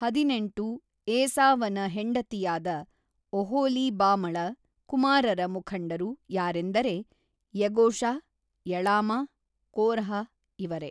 ಹದಿನೆಂಟು ಏಸಾವನ ಹೆಂಡತಿಯಾದ ಒಹೊಲೀಬಾಮಳ ಕುಮಾರರ ಮುಖಂಡರು ಯಾರಂದರೆ ಯೆಗೂಷ ಯಳಾಮ ಕೋರಹ ಇವರೇ.